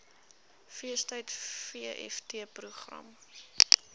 feestyd vft program